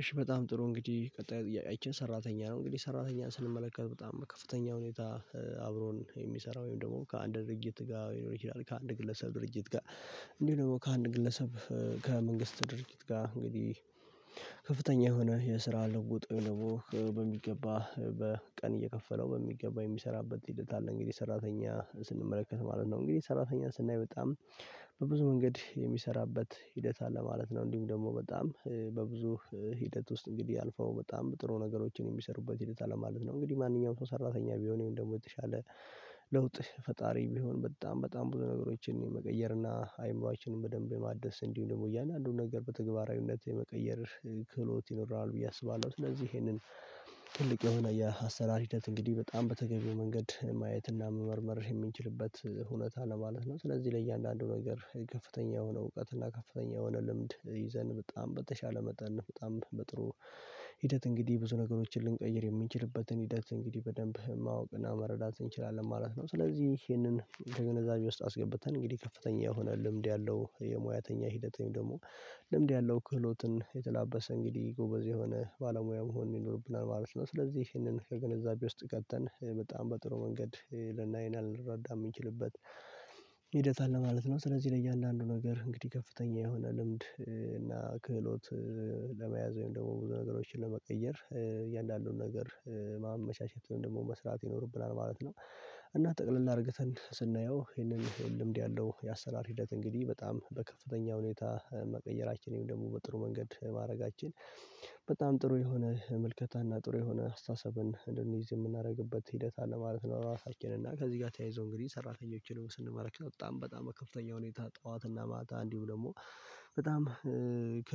እሺ በጣም ጥሩ እንግዲህ ቀጣይ ጥያቄችን ሰራተኛ ነው እንግዲህ ሰራተኛ ስንመለከት በጣም ከፍተኛ ሁኔታ አብሮን የሚሰራ ወይም ደግሞ ከአንድ ድርጅት ጋር ሊሆን ይችላል ከአንድ ግለሰብ ድርጅት ጋር። እንዲህ ደግሞ ከአንድ ግለሰብ ከመንግስት ድርጊት ጋር እንግዲህ ከፍተኛ የሆነ የስራ ለውጦ ለውጦ በሚገባ በቀን እየከፈለው በሚገባ የሚሰራበት ሂደት አለ። እንግዲህ ሰራተኛ ስንመለከት ማለት ነው እንግዲህ ሰራተኛ ስናይ በጣም። በብዙ መንገድ የሚሰራበት ሂደት አለ ማለት ነው እንዲሁም ደግሞ በጣም በብዙ ሂደት ውስጥ እንግዲህ አልፈው በጣም ጥሩ ነገሮችን የሚሰሩበት ሂደት አለ ማለት ነው። እንግዲህ ማንኛውም ሰው ሰራተኛ ወይም ደግሞ የተሻለ ለውጥ ፈጣሪ ቢሆን በጣም በጣም ብዙ ነገሮችን መቀየርና አይምሮአችንን በደንብ የማደስ እንዲሁ ደግሞ እያንዳንዱን ነገር በተግባራዊነት የመቀየር ክህሎት ይኖራል ብዬ አስባለሁ። ስለዚህ ይሄንን ትልቅ የሆነ የአሰራር ሂደት እንግዲህ በጣም በተገኘው መንገድ ማየትና መመርመር የሚንችልበት ሁኔታ ለማለት ነው። ስለዚህ ለእያንዳንዱ ነገር ከፍተኛ የሆነ እውቀት እና ከፍተኛ የሆነ ልምድ ይዘን በጣም በተሻለ መጠን በጣም በጥሩ ሂደት እንግዲህ ብዙ ነገሮችን ልንቀይር የሚንችልበትን ሂደት እንግዲህ በደንብ ማወቅና መረዳት እንችላለን ማለት ነው። ስለዚህ ይሄንን ከግንዛቤ ውስጥ አስገብተን እንግዲህ ከፍተኛ የሆነ ልምድ ያለው የሙያተኛ ሂደተኛ ደግሞ ልምድ ያለው ክህሎትን የተላበሰ እንግዲህ ጎበዝ የሆነ ባለሙያ መሆን ይኖርብናል ባለች ነው። ስለዚህ ይህንን ከግንዛቤ ውስጥ ከተን በጣም በጥሩ መንገድ ልናይ እና ልንረዳ የምንችልበት ሂደት አለ ማለት ነው። ስለዚህ ለእያንዳንዱ ነገር እንግዲህ ከፍተኛ የሆነ ልምድ እና ክህሎት ለመያዝ ወይም ደግሞ ብዙ ነገሮችን ለመቀየር እያልን ነገር ማመቻቸት ወይም ደግሞ መስራት ይኖርብናል ማለት ነው። እና ጠቅልል እርግተን ስናየው ይሄንን ልምድ ያለው የአሰራር ሂደት እንግዲህ በጣም በከፍተኛ ሁኔታ መቀየራችን ይሄን ደግሞ በጥሩ መንገድ ማድረጋችን በጣም ጥሩ የሆነ ምልከታ እና ጥሩ የሆነ አስተሳሰብን እንደንይዝ የምናደርግበት ሂደት አለ ማለት ነው። ራሳችንን እና ከዚህ ጋር ተያይዞ እንግዲህ ሰራተኞችን ደግሞ ስንመለከት በጣም በጣም በከፍተኛ ሁኔታ ጠዋት እና ማታ እንዲሁም ደግሞ። በጣም ከ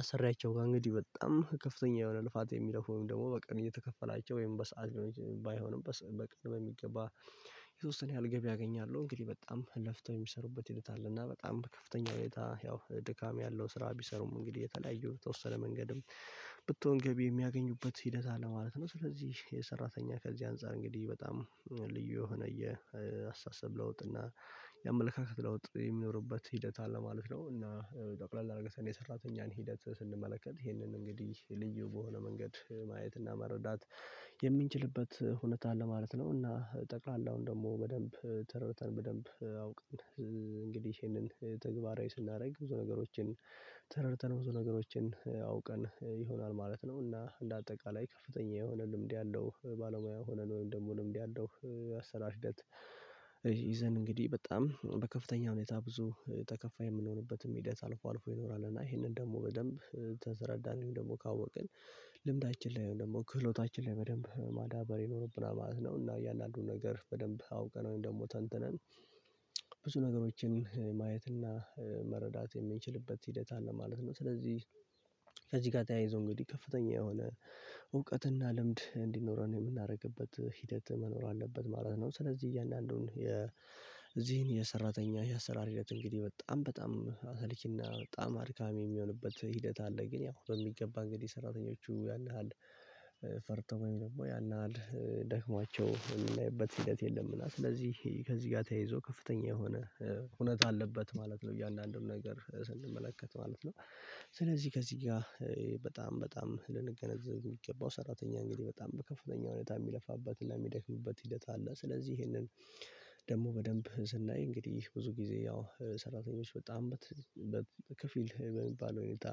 አሰሪያቸው ጋር እንግዲህ በጣም ከፍተኛ የሆነ ልፋት የሚለፉ ወይም ደግሞ በቀን እየተከፈላቸው ወይም በሰአት ባይሆንም በቀን በሚገባ የተወሰነ ያህል ገቢ ያገኛለሁ እንግዲህ በጣም ለፍተው የሚሰሩበት ሂደት አለ እና በጣም ከፍተኛ ሁኔታ ያው ድካም ያለው ስራ ቢሰሩም እንግዲህ የተለያዩ የተወሰነ መንገድም ብትሆን ገቢ የሚያገኙበት ሂደት አለ ማለት ነው። ስለዚህ የሰራተኛ ከዚህ አንፃር እንግዲህ በጣም ዩ የሆነ የአስተሳሰብ ለውጥ እና የአመለካከት ለውጥ የሚኖርበት ሂደት አለ ማለት ነው። እና ጠቅለል አርገን ን የሰራተኛን ሂደት ስንመለከት ይህንን እንግዲህ ልዩ በሆነ መንገድ ማየትና መረዳት የምንችልበት ሁኔታ አለ ማለት ነው። እና ጠቃላውን ደግሞ በደንብ ተርተን በደንብ አውቅን እንግዲህ ይሄንን ተግባራዊ ስናደርግ ብዙ ነገሮችን ተረድተን ብዙ ነገሮችን አውቀን ይሆናል ማለት ነው። እና እንደ አጠቃላይ ከፍተኛ የሆነ ልምድ ያለው ባለሙያ ሆነን ወይም ደግሞ ልምድ ያለው አሰራር ሂደት ይዘን እንግዲህ በጣም በከፍተኛ ሁኔታ ብዙ ተከፋይ የምንሆንበትም ሂደት አልፎ አልፎ ይኖራል። እና ይሄንን ደግሞ በደንብ ከተረዳን ደግሞ ካወቅን ልምዳችን ላይ ደግሞ ክህሎታችን ላይ በደንብ ማዳበር ይኖረብና ማለት ነው። እና እያንዳንዱን ነገር በደንብ አውቀነው ደግሞ ተንትነን ብዙ ነገሮችን ማየትና መረዳት የምንችልበት ሂደት አለ ማለት ነው። ስለዚህ ከዚህ ጋር ተያይዞ እንግዲህ ከፍተኛ የሆነ እውቀትና ልምድ እንዲኖረን የምናደርግበት ሂደት መኖር አለበት ማለት ነው። ስለዚህ እያንዳንዱን የዚህን የሰራተኛ የአሰራር ሂደት እንግዲህ በጣም በጣም አሰልቺና በጣም አድካሚ የሚሆንበት ሂደት አለ ግን ያው በሚገባ እንግዲህ ሰራተኞቹ ያን ያህል ፈርተው ወይም ደግሞ ያን ያህል ደክሟቸው የምናይበት ሂደት የለም። እና ስለዚህ ከዚህ ጋር ተያይዞ ከፍተኛ የሆነ ሁነት አለበት ማለት ነው። እያንዳንዱን ነገር ስንመለከት ማለት ነው ስለዚህ ከዚህ ጋር በጣም በጣም ልንገነዘብ የሚገባው ሰራተኛ እንግዲህ በጣም በከፍተኛ ሁኔታ የሚለፋበትን ለሚደክምበት እድለት አለ። ስለዚህ ይሄንን ደግሞ በደንብ ስናይ እንግዲህ ብዙ ጊዜ ያው ሰራተኞች በጣም በከፊል በሚባል ሁኔታ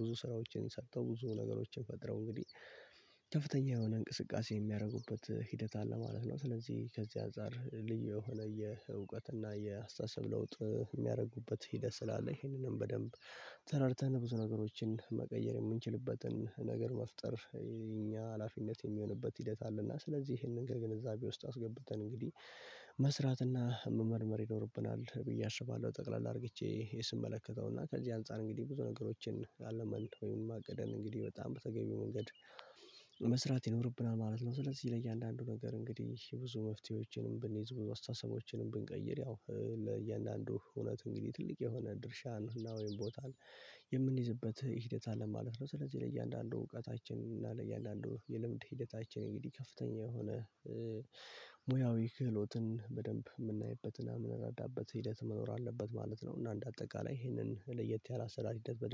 ብዙ ስራዎችን ሰጥተው ብዙ ነገሮችን ፈጥረው እንግዲህ ከፍተኛ የሆነ እንቅስቃሴ የሚያደርጉበት ሂደት አለ ማለት ነው። ስለዚህ ከዚህ አንፃር ልዩ የሆነ የእውቀትና የአስተሳሰብ ለውጥ የሚያደርጉበት ሂደት ስላለ ይሄንንም በደንብ ተረድተን ብዙ ነገሮችን መቀየር የምንችልበትን ነገር መፍጠር የእኛ ሀላፊነት የሚሆንበት ሂደት አለና ስለዚህ ይሄንን ግን ከግንዛቤ ውስጥ አስገብተን እንግዲህ መስራትና መመርመር ይኖርብናል። ብዬ አስባለሁ። ጠቅለል አድርግቼ ስመለከተው እና ከዚህ አንፃር እንግዲህ ብዙ ነገሮችን አልመን ወይም አቅደን እንግዲህ በጣም በተገቢው መንገድ መስራት ይኖርብናል ማለት ነው። ስለዚህ ለእያንዳንዱ ነገር እንግዲህ ብዙ መፍትሄዎችንም ብንይዝ ብንይዝ አስተሳሰቦችንም ብንቀይር ያው ለእያንዳንዱ እውነት እንግዲህ ትልቅ የሆነ ድርሻን ወይም ቦታን የምንይዝበት ሂደት አለ ማለት ነው። ስለዚህ ለእያንዳንዱ እውቀታችን እና ለእያንዳንዱ የልምድ ሂደታችን እንግዲህ ከፍተኛ የሆነ ሙያዊ ክህሎትን በደንብ ምናይበትና የምንረዳበት ሂደት መኖር አለበት ማለት ነው። እና እንደ አጠቃላይ ይሄንን ለየት ያለ አሰራር ሂደት በደንብ